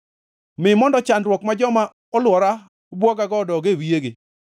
Mi mondo chandruok ma joma olwora bwogago, odog e wiyegi.